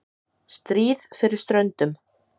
STRÍÐ FYRIR STRÖNDUM